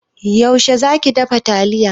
Yaushe za ki dafa taliyar?